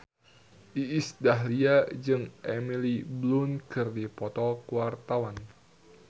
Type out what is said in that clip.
Iis Dahlia jeung Emily Blunt keur dipoto ku wartawan